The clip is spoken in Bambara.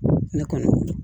Ne kɔni weele